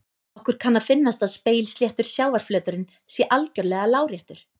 Okkur kann að finnast að spegilsléttur sjávarflöturinn sé algjörlega láréttur.